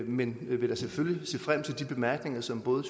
men vil da selvfølgelig se frem til de bemærkninger som både